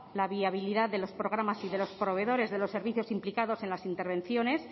la viabilidad de los programas y de los proveedores de los servicios implicados en las intervenciones